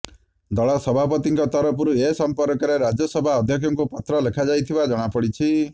ଦଳ ସଭାପତିଙ୍କ ତରଫରୁ ଏ ସଂପର୍କରେ ରାଜ୍ୟସଭା ଅଧ୍ୟକ୍ଷଙ୍କୁ ପତ୍ର ଲେଖାଯାଇଥିବା ଜଣାପଡିଛି